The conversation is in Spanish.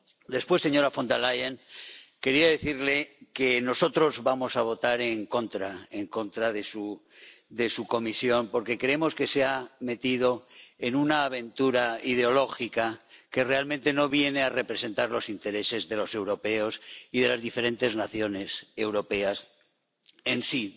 Después, señora Von der Leyen, quería decirle que nosotros vamos a votar en contra de su Comisión, porque creemos que se ha metido en una aventura ideológica que realmente no viene a representar los intereses de los europeos y de las diferentes naciones europeas en sí